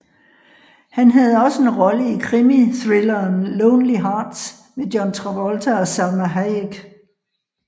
Han havde også en rolle i krimithrilleren Lonely Hearts med John Travolta og Salma Hayek